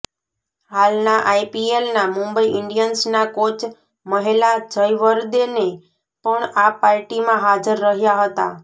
હાલના આઇપીએલના મુંબઇ ઇન્ડિયન્સના કોચ મહેલા જયવર્દેને પણ આ પાર્ટીમાં હાજર રહ્યા હતા